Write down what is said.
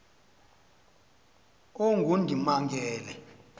ongundimangele